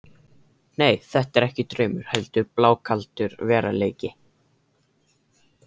Nei, þetta er ekki draumur heldur blákaldur veruleiki.